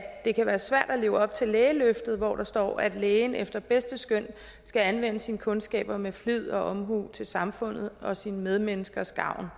det kan være svært at leve op til lægeløftet hvor der står at lægen efter bedste skøn skal anvende sine kundskaber med flid og til samfundets og sine medmenneskers gavn og